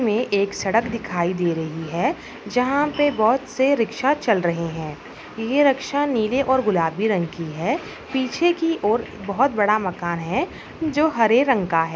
ये एक सड़क दिखाई दे रही है जहाँ पे बहुत से रिक्शा चल रहे हैं ये रिक्शा नींले और गुलाबी रंग की है पीछे की ओर एक बहुत बड़ा मकान है जो हरे रंग का है।